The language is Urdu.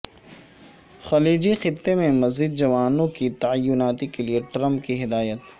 خلیجی خطے میں مزید جوانوں کی تعیناتی کیلئے ٹرمپ کی ہدایت